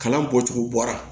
Kalan bɔcogo bɔra